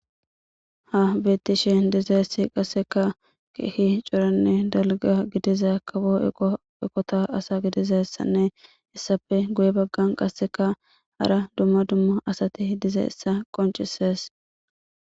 Ha beettishe dizeessi qaseka kehi coranne dalga gidizay akabo eqoeqota asa gidizassanne issafe guye baggan qasseka hara dumma dumma asati dize issa qoncisees.